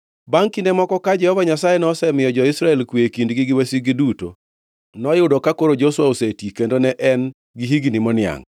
Bangʼ kinde moko ka Jehova Nyasaye nosemiyo jo-Israel kwe e kindgi gi wasikgi duto, noyudo ka koro Joshua oseti kendo ne en gi higni moniangʼ,